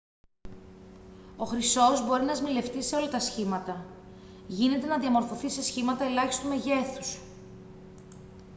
ο χρυσός μπορεί να σμιλευτεί σε όλα τα σχήματα γίνεται να διαμορφωθεί σε σχήματα ελάχιστου μεγέθους